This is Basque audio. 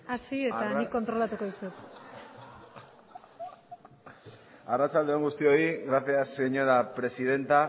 hasi eta nik kontrolatu dizut arratsalde on guztioi gracias señora presidenta